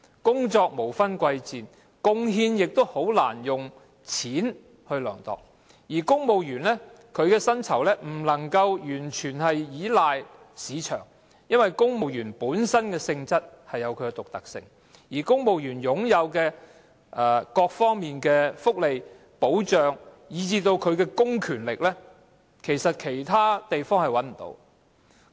工作無分貴賤，貢獻亦難以用金錢量度，而公務員的薪酬也不能夠完全根據市場來釐定，因為公務員本身的性質有其獨特性，而公務員在各方面擁有的福利、保障，以至公權力，在其他地方其實是沒有的。